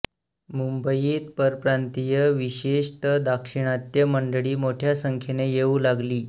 मुंबईत परप्रांतीय विशेषत दाक्षिणात्य मंडळी मोठ्या संख्येने येऊ लागली